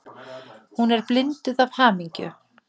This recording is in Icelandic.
Hún er blinduð af hamingju.